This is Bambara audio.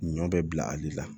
Ɲɔ bɛ bila ale la